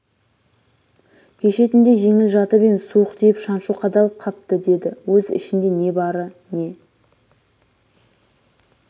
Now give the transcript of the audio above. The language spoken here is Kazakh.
кеше түнде жеңіл жатып ем суық тиіп шаншу қадалып қапты деді өз ішінде не бары не